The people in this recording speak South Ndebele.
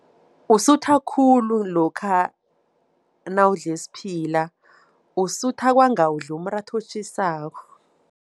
Usutha khulu lokha nawudle isiphila, usutha kwanga udle umratha otjhisako.